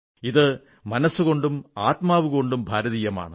ഇത് മനസ്സുകൊണ്ടും ആത്മാവുകൊണ്ടും ഭാരതീയമാണ്